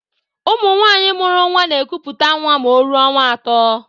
Ụmụ nwanyị mụrụ nwa n'ekuputa nwa ma o rụọ ọnwa atọ.